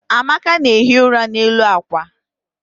amaka na-ehi ụra n'elu akwa.